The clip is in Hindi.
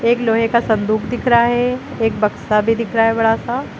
लोहे का संदूक दिख रहा है एक बक्सा भी दिख रहा है बड़ा सा।